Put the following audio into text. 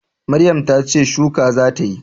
Maryam ta ce shuku za ta yi.